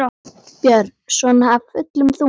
Björn: Svona af fullum þunga?